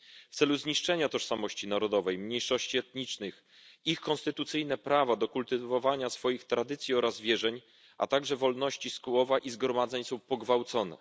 W celu zniszczenia tożsamości narodowej mniejszości etnicznych ich konstytucyjne prawa do kultywowania swoich tradycji oraz wierzeń, a także wolności słowa i zgromadzeń są pogwałcone.